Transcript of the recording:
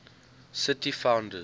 city founders